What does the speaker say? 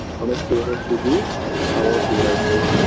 অনেক পুরনো স্মৃতি আবারও ফিরে আসবে